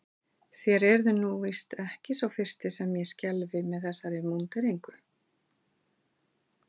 Þér eruð nú víst ekki sá fyrsti sem ég skelfi með þessari múnderingu.